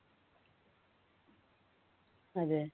അതേ